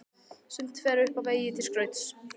Sumt fer upp á vegg til skrauts.